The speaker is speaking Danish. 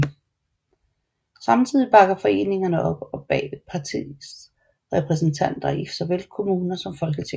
Samtidig bakker foreningerne op bag partiets repræsentanter i såvel kommuner som Folketing